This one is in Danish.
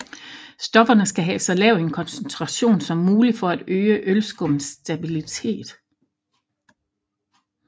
Stofferne skal have så lav en koncentration som muligt for at øge ølskummets stabilitet